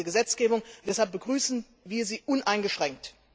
Das sagt diese Gesetzgebung, und deshalb begrüßen wir sie uneingeschränkt.